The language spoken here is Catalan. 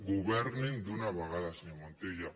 governin d’una vegada senyor montilla